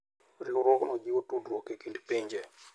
Riwruogno jiwo tudruok e kind pinje.